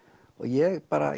og ég bara